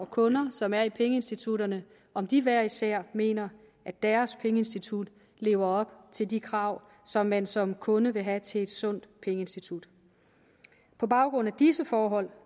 kunder som er i pengeinstitutterne om de hver især mener at deres pengeinstitut lever op til de krav som man som kunde vil have til et sundt pengeinstitut på baggrund af disse forhold